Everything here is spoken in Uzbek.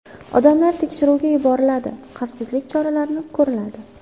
Odamlar tekshiruvga yuboriladi, xavfsizlik choralari ko‘riladi.